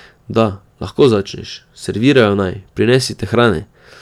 Da, lahko začneš, servirajo naj, prinesite hrane!